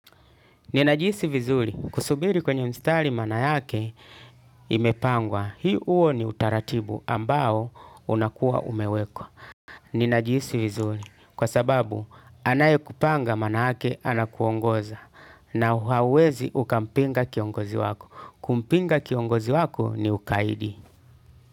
Ninajihisi vizuri, kusubiri kwenye mstari maana yake imepangwa, huo ni utaratibu ambao unakuwa umewekwa. Ninajihisi vizuri, kwa sababu anaye kupanga maana yake anakuongoza na hauwezi ukampinga kiongozi wako. Kumpinga kiongozi wako ni ukaidi.